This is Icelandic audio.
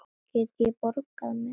Get ég borgað með nýra?